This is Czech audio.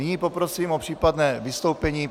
Nyní poprosím o případné vystoupení.